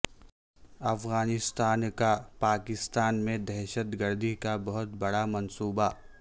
افغانستان کا پاکستان میں دہشتگردی کا بہت بڑا منصوبہ